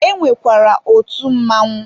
E nwekwara otu Mmanwụ